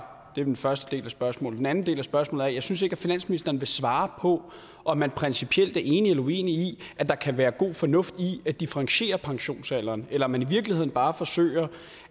det er den første del af spørgsmålet den anden del af spørgsmålet er synes finansministeren vil svare på om man principielt er enig eller uenig i at der kan være god fornuft i at differentiere pensionsalderen eller om man i virkeligheden bare forsøger